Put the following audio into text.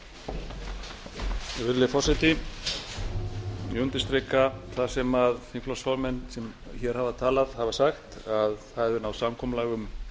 virðulegi forseti ég undirstrika það sem þingflokksformenn sem hér hafa talað hafa sagt að náðst hefur samkomulag um